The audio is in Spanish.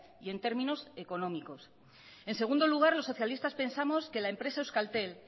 y en términos económicos en segundo lugar los socialistas pensamos que la empresa euskaltel